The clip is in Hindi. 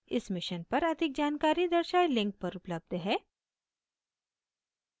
इस mission पर अधिक जानकारी दर्शाये link पर उपलब्ध है